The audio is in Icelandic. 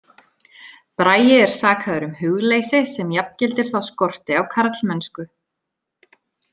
Bragi er sakaður um hugleysi sem jafngildir þá skorti á karlmennsku.